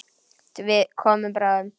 Við komum bráðum.